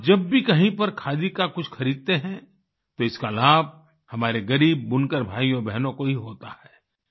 आप जब भी कहीं पर खादी का कुछ खरीदते हैं तो इसका लाभ हमारे गरीब बुनकर भाइयो बहनों को ही होता है